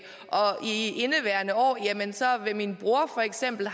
og i indeværende år har min bror for eksempel